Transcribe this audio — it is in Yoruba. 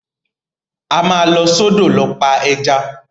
A máa lọ sọ́dọ̀ lọ pa ẹja.